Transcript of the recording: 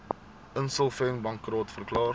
insolvent bankrot verklaar